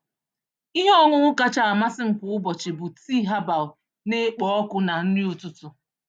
Ihe ọṅụṅụ kacha amasị m kwa ụbọchị bụ tii herbal na-ekpo ọkụ na nri ụtụtụ.